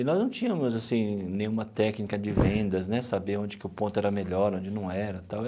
E nós não tínhamos assim nenhuma técnica de vendas né, saber onde que o ponto era melhor, onde não era tal.